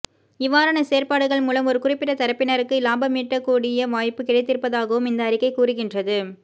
இவ்வாறான செயற்பாடுகள் மூலம் ஒரு குறிப்பிட்ட தரப்பினருக்கு இலாபமீட்டக்கூடிய வாய்ப்பு கிடைத்திருப்பதாகவும் இந்த அறிக்கை கூறுகின்றது